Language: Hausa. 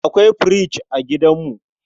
Akwai fridge a gidanmu.